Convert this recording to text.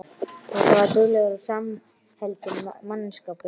Þetta var duglegur og samheldinn mannskapur.